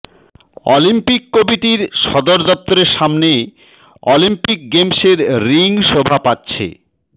Olympic কমিটির সদরদপ্তরের সামনে অলিম্পিক গেমসের রিং শোভা পাচ্ছে